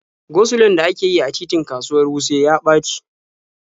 Go-sulon da ake yi a titin kasuwar Wuse ya ɓaci.